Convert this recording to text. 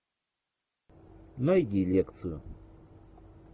найди лекцию